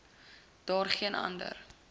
daar geen ander